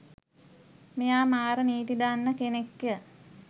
මෙයා මාර නීති දන්න කෙනෙක් ය.